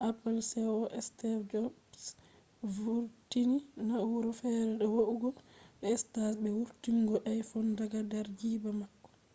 apple ceo steve jobs vurtini na’ura fere do va’ugo do stage be vurtungo iphone daga der jiiba mako